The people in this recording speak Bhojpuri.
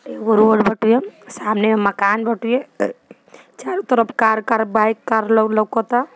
सामने माकन बाटे चारों तरफ कार- कार बाइक कार लौकता।